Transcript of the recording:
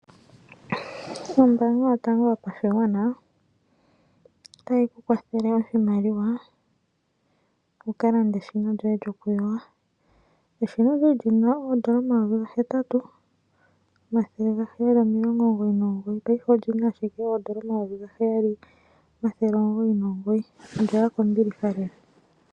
Ombaanga yotango yopashigwana, otayi ku kwathele oshimaliwa, wukalande eshina lyoye lyokuyoga. Eshina olyali lina oondola omayovi gahetatu, omathele gaheyali omilongo omugoyi nomugoyi, paife olina ashike oondola omayovi gaheyali, omathele omugoyi nomugoyi. Olyaya kombiliha lela.